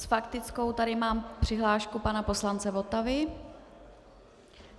S faktickou tady mám přihlášku pana poslance Votavy.